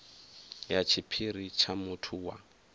ya tshiphiri tsha muthu wa